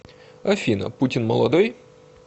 афина путин молодой